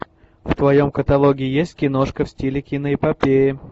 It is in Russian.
в твоем каталоге есть киношка в стиле киноэпопеи